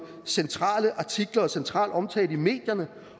centrale artikler og central omtale i medierne